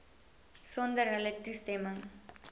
sonder hulle toestemming